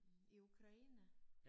I Ukraine